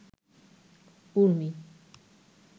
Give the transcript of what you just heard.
ঊর্মি